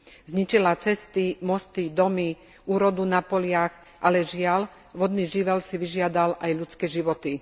Zničila cesty, domy, mosty, úrodu na poliach, ale žiaľ, vodný živel si vyžiadal aj ľudské životy.